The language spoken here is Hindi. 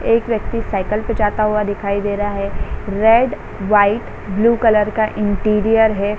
एक व्यक्ति साइकिल पे जाता हुआ दिखाई दे रहा है रेड वाइट ब्लू कलर का इंटीरियर है।